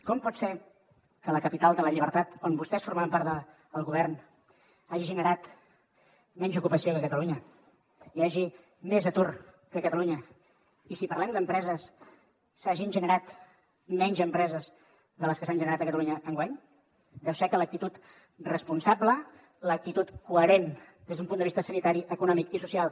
com pot ser que la capital de la llibertat on vostès formaven part del govern hagi generat menys ocupació que catalunya hi hagi més atur que a catalunya i si parlem d’empreses s’hagin generat menys empreses de les que s’han generat a catalunya enguany deu ser que l’actitud responsable l’actitud coherent des d’un punt de vista sanitari econòmic i social